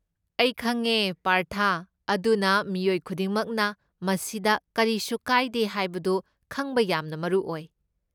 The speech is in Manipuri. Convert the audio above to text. ꯑꯩ ꯈꯪꯉꯦ ꯄꯥꯔꯊ, ꯑꯗꯨꯅ ꯃꯤꯑꯣꯏ ꯈꯨꯗꯤꯡꯃꯛꯅ ꯃꯁꯤꯗ ꯀꯔꯤꯁꯨ ꯀꯥꯏꯗꯦ ꯍꯥꯏꯕꯗꯨ ꯈꯪꯕ ꯌꯥꯝꯅ ꯃꯔꯨ ꯑꯣꯏ꯫